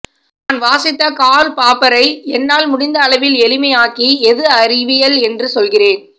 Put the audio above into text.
நான் வாசித்த கார்ல் பாப்பரை என்னால் முடிந்த அளவில் எளிமையாக்கி எது அறிவியல் என்று சொல்கிறேன்